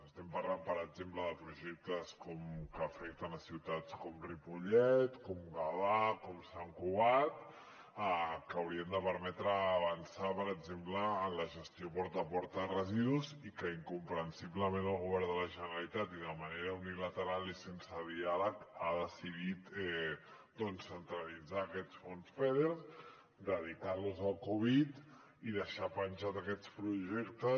estem parlant per exemple de projectes que afecten a ciutats com ripollet com gavà com sant cugat que haurien de permetre avançar per exemple en la gestió porta a porta de residus i que incomprensiblement el govern de la generalitat i de manera unilateral i sense diàleg ha decidit centralitzar aquests fons feder dedicar los a la covid i deixar penjats aquests projectes